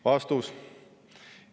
" Vastus.